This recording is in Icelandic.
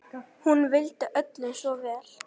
Hún vildi öllum svo vel.